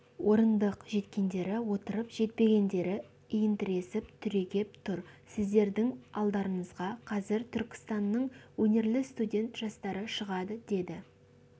орындық жеткендері отырып жетпегендері иінтіресіп түрегеп тұр сіздердің алдарыңызға қазір түркістанның өнерлі студент жастары шығады деді